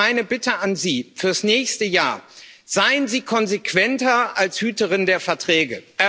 Daher meine Bitte an Sie fürs nächste Jahr Seien Sie konsequenter als Hüterin der Verträge.